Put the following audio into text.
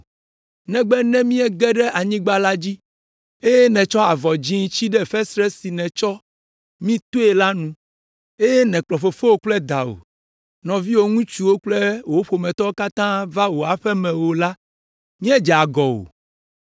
negbe ne míege ɖe anyigba la dzi, eye nètsɔ avɔ dzĩ tsi ɖe fesre si nètsɔ mí toe la nu, eye ne mèkplɔ fofowò kple dawò, nɔviwò ŋutsuwo kple wò ƒometɔwo katã va wò aƒe me o la, míedze agɔ o.